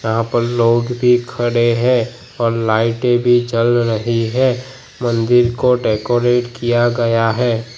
यहां पर लोग भी खड़े हैं और लाइटे भी जल रही है मंदिर को डेकोरेट किया गया है।